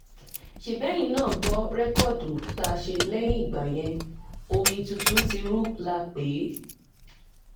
ṣebí eyín náà gbọ́ rẹ́kọ́ọ̀dù tá a ṣe lẹ́yìn ìgbà yẹn omi tuntun ti ru la pè é